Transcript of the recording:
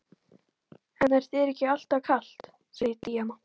En er þér ekki alltaf kalt, segir Díana.